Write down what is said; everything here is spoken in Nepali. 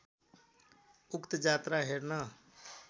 उक्त जात्रा हेर्न